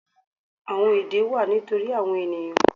Àwọn èdè wà nítorí àwon ènìyàn